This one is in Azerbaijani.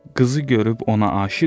Qızı görüb ona aşiq olur.